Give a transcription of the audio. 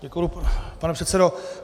Děkuji, pane předsedo.